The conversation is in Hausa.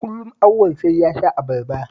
Kullum Auwal sai ya sha abarba